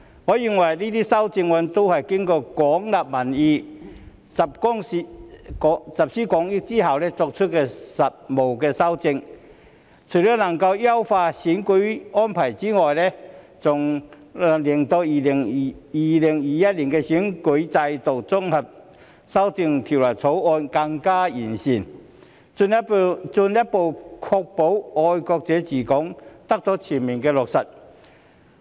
我認為這些修正案均是經過廣納民意、集思廣益後作出的務實修訂，除了能夠優化選舉安排外，還能令《2021年完善選舉制度條例草案》更加完善，進一步確保"愛國者治港"得到全面落實。